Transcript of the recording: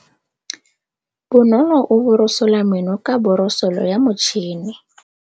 Bonolô o borosola meno ka borosolo ya motšhine.